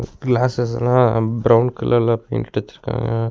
கிளாசஸ்லா brown கலர்ல paint அடிச்சுருக்காங்க.